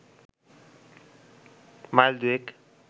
mile দুয়েক